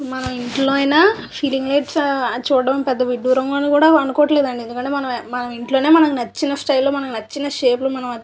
మనం ఇంట్లో అయినా సీలింగ్ లైట్స్ చూడటం పెద్ద విడ్డూరం కాదు అనుకోవటం లేదండి ఎందుకంటే నచ్చిన స్టైల్లో నచ్చిన షేప్ లో మనకి --